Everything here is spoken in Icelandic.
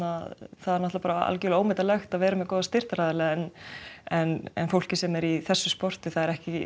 það er algjörlega ómetanlegt að vera með góða styrktaraðila en en en fólk sem er í þessu sporti er ekki